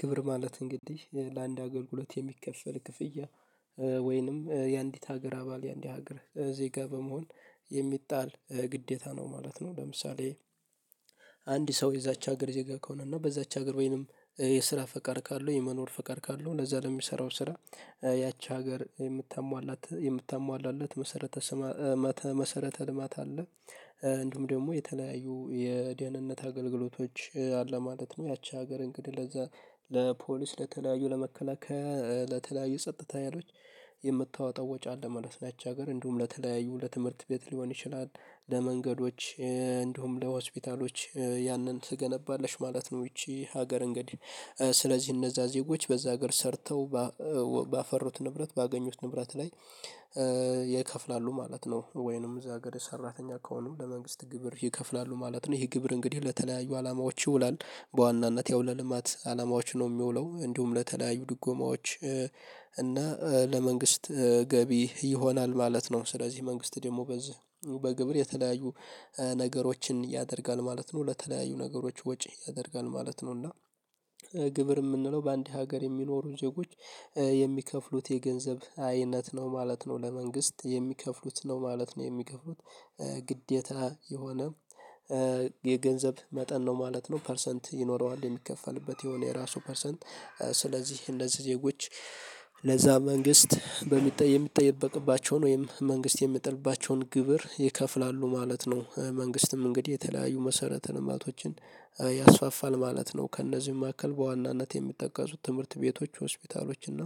ግብር ማለት እንግዲህ ለአንድ አገልግሎት የሚከፈል ክፍያ ወይንም የአንዲት ሀገር አባል የአንዲት ሀገር ዜጋ በመሆን የሚጣል ግዴታ ነው ማለት ነው። ለምሳሌ አንድ ሰው የዛች ሀገር ዜጋ ከሆነና በዛች ሀገር ወይንም የስራ ፈቃድ ካለው የመኖር ፈቃድ ካለው ለዛ ለሚሰራው ስራ ያቺ ሀገር የምታሟላት የምታሟላለት መሰረተ መሰረተ ልማት አለ። እንዲሁም ደግሞ የተለያዩ የደህንነት አገልግሎቶች አለ ማለት ነው። ያቺ ሀገር እንግዲህ ለዛ ለፖሊስ ለተለያዩ ለመከላከያ ለተለያዩ ጸጥታ ሀይሎች የምታወጣው ወጪ አለ። ማለት ያች ሀገር እንዲሁም ለተለያዩ ለትምህርት ቤት ሊሆን ይችላል። ለመንገዶች እንዲሁም ለሆስፒታሎች ያንን ትገነባለሽ ማለት ነው። ይቺ ሀገር እንግዲህ ስለዚህ እነዛ ዜጎች በዛ ሀገር ሰርተው ባፈሩት ንብረት ባገኙት ንብረት ላይ ይከፍላሉ ማለት ነው። ወይንም እዛ ሀገር ሰራተኛ ከሆኑ ለመንግስት ግብር ይከፍላሉ ማለት ነው። ይህ ግብር እንግዲህ ለተለያዩ አላማዎች ይውላል በዋናነት ያው ለልማት አላማዎች ነው የሚውለው እንደውም ለተለያዩ ድጎማዎች። እና ለመንግስት ገቢ ይሆናል ማለት ነው። ስለዚህ መንግስት ደግሞ በዚህ በግብር የተለያዩ ነገሮችን ያደርጋል ማለት ነው። ለተለያዩ ነገሮች ወጪ ያደርጋል ማለት ነው። እና ግብር የምንለው በአንድ ሀገር የሚኖሩ ዜጎች የሚከፍሉት የገንዘብ አይነት ነው ማለት ነው። ለመንግስት የሚከፍሉት ነው ማለት ነው። የሚከፍሉት ግዴታ የሆነ የገንዘብ መጠን ነው ማለት ነው። ፐርሰንት ይኖረዋል የሚከፈልበት የሆነ የራሱ ፐርሰንት ስለዚህ እንደዚህ ዜጎች ለዛ መንግስት በምትጠየ የምትጠይ ቅባቸውን ወይም መንግስት የምትሚጥልባቸዉን ግብር ይከፍላሉ ማለት ነው። መንግስትም እንግዲህ የተለያዩ መሰረተ ልማቶችን ያስፋፋል ማለት ነው። ከእነዚህም መካከል በዋናነት የሚጠቀሱት ትምህርት ቤቶች ሆስፒታሎች እና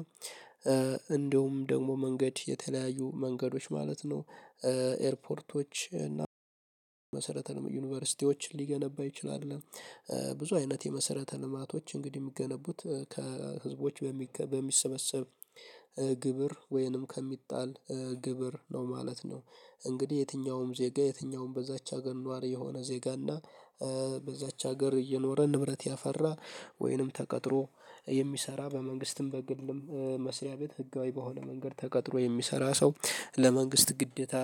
እንደውም ደግሞ መንገድ የተለያዩ መንገዶች ማለት ነው። ኤርፖርቶች እና መሰረተ ዩኒቨርሲቲዎችን ሊገነባ ይችላል። ብዙ አይነት የመሰረተ ልማቶች እንግዲህ የሚገነቡት ከህዝቦች በሚሰበሰብ ግብር ወይንም ከሚጣል ግብር ነው ማለት ነው። እንግዲህ የትኛውም ዜጋ የትኛውም በዛች ሀገር ነዋሪ የሆነ ዜጋ እና በዛች ሀገር እየኖረ ንብረት ያፈራ ወይንም ተቀጥሮ የሚሰራ በመንግስትም በግልም መስሪያ ቤት ህጋዊ በሆነ መንገድ ተቀጥሮ የሚሰራ ሰው ለመንግስት ግዴታ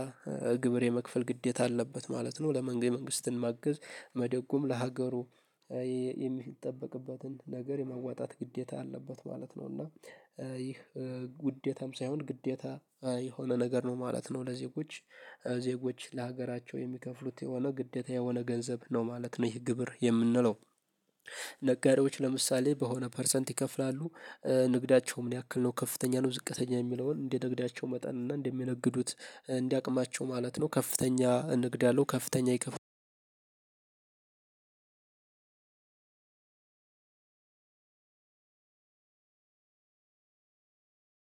ግብር የመክፈል ግዴታ አለበት ማለት ነው። ለመንገ የመንግስትን ማገዝ መደጎም ለሀገሩ የሚጠበቅበትን ነገር የመዋጣት ግዴታ አለበት ማለት ነው። እና ይህ ዉዴታም ሳይሆን ግዴታ የሆነ ነገር ነው ማለት ነው። ለዜጎች ዜጎች ለሀገራቸው የሚከፍሉት የሆነ ግዴታ የሆነ ገንዘብ ነው ማለት ነው። ይህ ግብር የምንለው ነጋዴዎች ለምሳሌ በሆነ ፐርሰንት ይከፍላሉ። ንግዳቸው ምን ያክል ነው ከፍተኛ ነው ዝቅተኛ የሚለውን እንደ ንግዳቸው መጠን እና እንደሚነግዱት እንደ አቅማቸው ማለት ነው። ከፍተኛ ንግድ ያለው ከፍተኛ ይከፍላል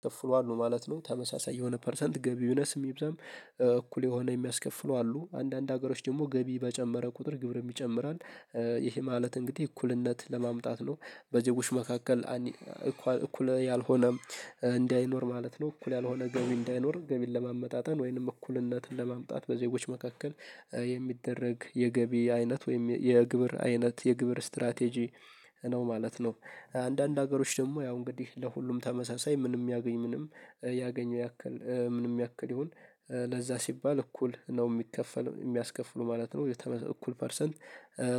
ከፍሏል ማለት ነው። ተመሳሳይ የሆነ ፐርሰንት ገቢ ይነስም ይብዛም ይሆናል እኩል የሆነ የሚያስከፍሉ አሉ አንዳንድ ሀገሮች ደግሞ ገቢ በጨመረ ቁጥር ግብርም ይጨምራል። ይህ ማለት እንግዲህ እኩልነት ለማምጣት ነው በዜጎች መካከል እኩል ያልሆነ እንዳይኖር ማለት ነው። እኩል ያልሆነ ገቢ እንዳይኖር ገቢን ለማመጣጠን ወይንም እኩልነትን ለማምጣት በዜጎች መካከል የሚደረግ የገቢ አይነት ወይም የግብር አይነት የግብር ስትራቴጂ ነው ማለት ነው። አንዳንድ ሀገሮች ደግሞ ያው እንግዲህ ለሁሉም ተመሳሳይ ምንም ያገኝ ምንም ያገኘው ያክል ምንም ያክል ይሁን ለዛ ሲባል እኩል ነው የሚከፈል የሚያስከፍሉ ማለት ነው። እኩል ፐርሰንት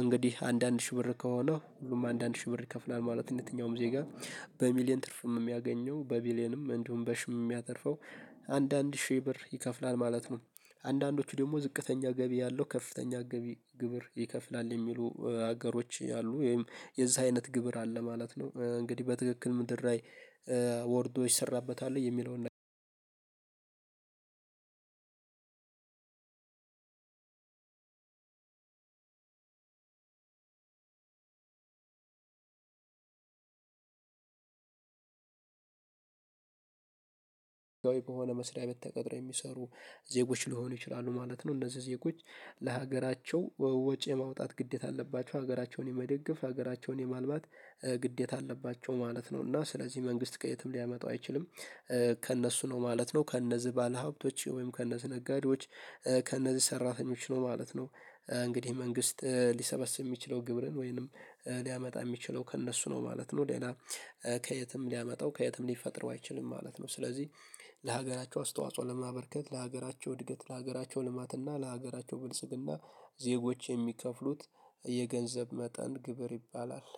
እንግዲህ አንድ አንድ ሺህ ብር ከሆነ ሁሉም አንድ አንድ ሺህ ብር ይከፍላል ማለት የትኛውም ዜጋ በሚሊየን ትርፍም የሚያገኘው በቢሊየንም እንዲሁም በሺም የሚያተርፈው አንዳንድ ሺህ ብር ይከፍላል ማለት ነው። አንዳንዶቹ ደግሞ ዝቅተኛ ገቢ ያለው ከፍተኛ ገቢ ግብር ይከፍላል የሚሉ ሀገሮች አሉ። ወይም የዛ አይነት ግብር አለ ማለት ነው። እንግዲህ በትክክል ምድር ላይ ወርዶ ይሰራበታል። የሚለውን አንድ ጎይ በሆነ መስሪያ ቤት ተቀጥረው የሚሰሩ ዜጎች ሊሆኑ ይችላሉ ማለት ነው። እነዚህ ዜጎች ለሀገራቸው ወጪ የማውጣት ግዴታ አለባቸው ሀገራቸውን የመደገፍ ሀገራቸውን የማልማት ግዴታ አለባቸው ማለት ነው። እና ስለዚህ መንግስት ከየትም ሊያመጣው አይችልም ከእነሱ ነው ማለት ነው። ከእነዚህ ባለሀብቶች ወይም ከነዚህ ነጋዴዎች ከነዚህ ሰራተኞች ነው ማለት ነው። እንግዲህ መንግስት ሊሰበስብ የሚችለው ግብርን ወይንም ሊያመጣ የሚችለው ከእነሱ ነው ማለት ነው። ሌላ ከየትም ሊያመጣው ከየትም ሊፈጥረው አይችልም ማለት ነው። ስለዚህ ለሀገራቸው አስተዋጽኦ ለማበርከት ለሀገራቸው እድገት ለሀገራቸው ልማትና ለሀገራቸው ብልጽግና ዜጎች የሚከፍሉት የገንዘብ መጠን ግብር ይባላል።